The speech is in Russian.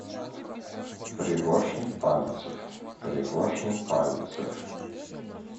пригоршня пальцев пригоршня пальцев